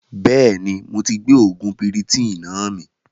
Bẹ́ẹ̀ni moti gbé oògùn piritonnáà mi